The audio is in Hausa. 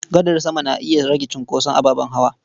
Gadar sama na iya rage cunkoson ababen hawa.